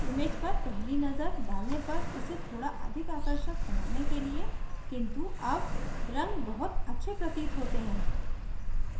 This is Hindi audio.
image पर पहली नजर डालने पर इसे थोड़ा अधिक आकर्षक बनाने के लिए किन्तु at रंग बहुत अच्छे प्रतीत होते हैं